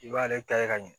I b'ale ta ye ka ɲɛ